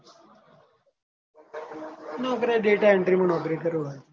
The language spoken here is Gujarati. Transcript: નોકરી આ data entry માં નોકરી કરું હાલ.